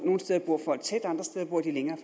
nogle steder bor folk tæt andre steder bor de længere